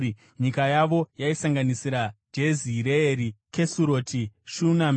Nyika yavo yaisanganisira: Jezireeri, Kesuroti, Shunami,